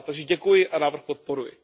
Takže děkuji a návrh podporuji.